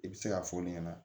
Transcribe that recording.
I bɛ se k'a fɔ ne ɲɛna